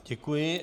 Děkuji.